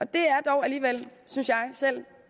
det er dog synes jeg